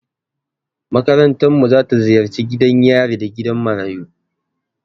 Makarantarmu za ta ziyarci gidan yari da gidan marayu.